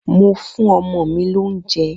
Mo fún ọmọ mi lóúnjẹ.